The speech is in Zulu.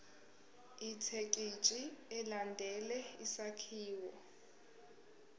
ithekisthi ilandele isakhiwo